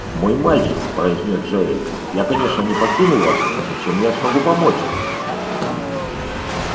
мой мальчик произнёс джаэль я конечно не покину вас но чем я смогу помочь